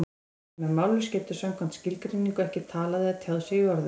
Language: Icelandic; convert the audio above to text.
Sá sem er mállaus getur samkvæmt skilgreiningu ekki talað eða tjáð sig í orðum.